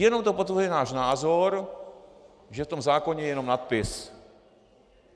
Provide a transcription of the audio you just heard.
Jenom to potvrzuje náš názor, že v tom zákoně je jenom nadpis.